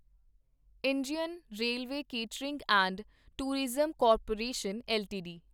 Indian railway catering and tourism corporation LTD